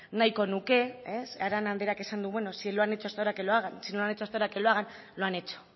nahiko nuke arana andreak esan du bueno si no lo han hecho hasta ahora que lo hagan lo han hecho